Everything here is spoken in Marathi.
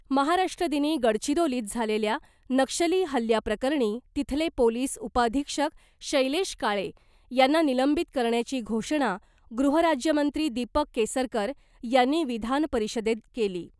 महाराष्ट्रदिनी गडचिरोलित झालेल्या नक्षली हल्ल्याप्रकरणी तिथले पोलीस उपअधिक्षक शैलेश काळे यांना निलंबित करण्याची घोषणा गृहराज्यमंत्री दीपक केसरकर यांनी विधानपरिषदेत केली .